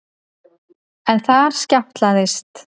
En þar skjátlaðist